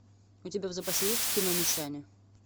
у тебя в запасе есть кино мещане